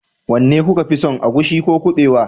wanne kuka fi son agushi ko kuɓewa